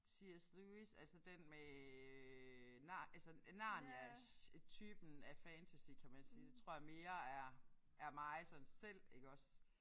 C S Lewis altså den med nar altså Narnias typen af fantasy kan man sige. Det tror jeg mere er er mig sådan selv iggås